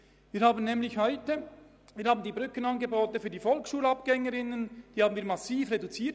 Wir haben die Brückenangebote für die Volksschulabgänger/-innen massiv reduziert.